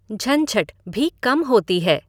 झंझट भी कम होती है।